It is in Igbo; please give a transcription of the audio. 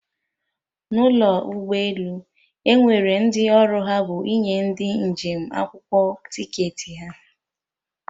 N'ụlọ ụgbọ elu, Enwere ndị ọrụ ha bụ ịnye ndị njem akwụkwọ ticketị ha